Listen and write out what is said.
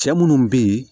Cɛ munnu be ye